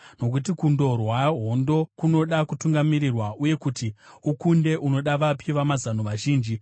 nokuti kundorwa hondo kunoda kutungamirirwa, uye kuti ukunde unoda vapi vamazano vazhinji.